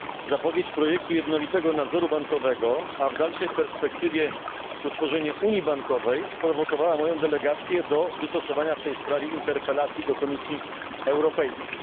Zapowiedź projektu jednolitego nadzoru bankowego, a w dalszej perspektywie utworzenie unii bankowej, sprowokowała moją delegację do wystosowania w tej sprawie interpelacji do Komisji Europejskiej.